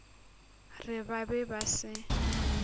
re ba be ba se